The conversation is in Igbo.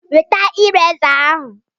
Weta ireza ahụ!